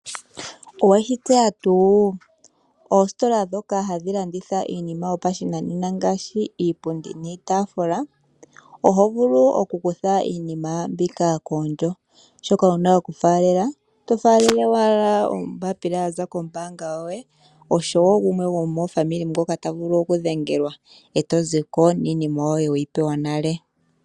Oweshi tseya tuu, oositola dhoka hadhi landitha iinima yopashinanena ngaashi, iipundi niitaafula, oho vulu okukutha iinima mbika koondjo, shoka wuna okufaalela, oto faalele wala ombaapila yaza kombaanga yoye osho wo gumwe gumwe gomofamili ngoka tavulu okudhengelwa eto ziko niinima weyi pewa nale.